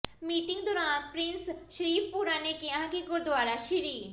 meeting ਦੌਰਾਨ ਪਿ੍ਰੰਸ ਸ਼ਰੀਫਪੁਰਾ ਨੇ ਕਿਹਾ ਕਿ ਗੁਰਦੁਆਰਾ ਸ੍ਰੀ